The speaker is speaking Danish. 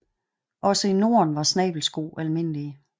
Også i Norden var snabelsko almindelige